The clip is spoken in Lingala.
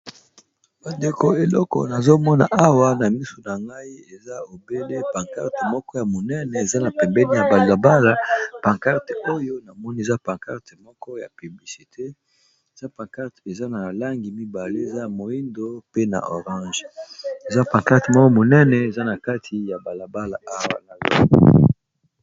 bandeko eleko nazomona awa na misu na ngai eza obele pankarte moko ya monene eza na pembeni ya balabala pancarte oyo namoni zapancarte moko ya piblicite zapancarte eza na langi mibale eza moindo pe na orange eza pancarte moko monene eza na kati ya balabala awa na